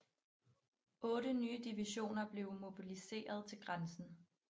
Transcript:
Otte nye divisioner blev mobiliserede til grænsen